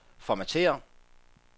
formatér